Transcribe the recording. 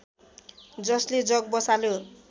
जसले जग बसाल्यो